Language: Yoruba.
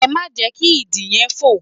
Ẹ má jẹ́ kí Idì yẹn fò!